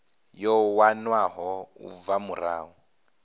yo wanwaho u bva murahu